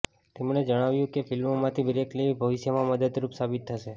તેમણે જણાવ્યું કે ફિલ્મોમાંથી બ્રેક લેવી ભવિષ્યમાં મદદરૂપ સાબિત થશે